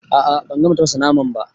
A'a ban gama tafasa naman ba.